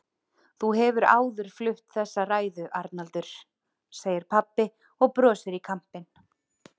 Þú hefur áður flutt þessa ræðu, Arnaldur, segir pabbi og brosir í kampinn.